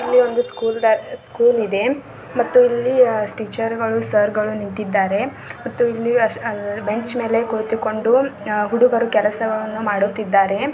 ಇಲ್ಲಿ ಒಂದು ಸ್ಕೂಲ್ ಇದೆ ಮತ್ತೆ ಇಲ್ಲಿ ಮತ್ತು ಇಲ್ಲಿ ಟೀಚರ್ ಗಳು ಸರ್ ಗಳು ನಿಂತಿದ್ದಾರೆ ಮತ್ತೆ ಬೆಂಚ್ ಮೇಲೆ ಕುಳಿತುಕೊಂಡು ಹುಡುಗರು ಕೆಲಸವನ್ನು ಮಾಡುತ್ತಿದ್ದಾರೆ.